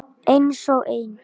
Einsog ein.